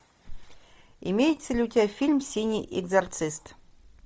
имеется ли у тебя фильм синий экзорцист